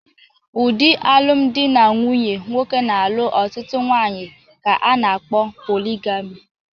Ụdị alụmdi na nwunye nwoke na-alụ otụtụ nwaanyị ka a na-kpọ poligami.